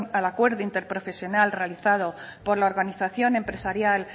al acuerdo interprofesional realizado por la organización empresarial